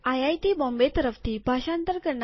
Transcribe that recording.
આને દયાન પૂર્વક સાંભળવા આભાર